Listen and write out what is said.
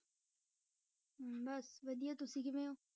ਬਸ ਵਧੀਆ ਤੁਸੀਂ ਕਿਵੇਂ ਹੋ?